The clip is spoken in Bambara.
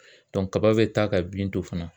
kaba bɛ taa ka bin to fana.